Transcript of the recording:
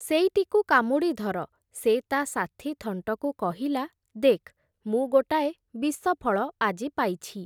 ସେଇଟିକୁ କାମୁଡ଼ିଧର, ସେ ତା ସାଥୀ ଥଣ୍ଟକୁ କହିଲା, ଦେଖ୍, ମୁଁ ଗୋଟାଏ ବିଷଫଳ ଆଜି ପାଇଛି ।